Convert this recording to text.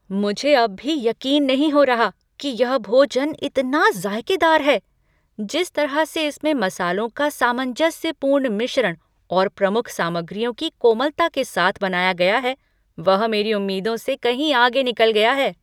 मुझे अब भी यक़ीन नहीं हो रहा की यह भोजन इतना ज़ायकेदार है, जिस तरह से इसमें मसालों का सामंजस्यपूर्ण मिश्रण और प्रमुख सामग्रियों की कोमलता के साथ बनाया गया है, वह मेरी उम्मीदों से कहीं आगे निकल गया है।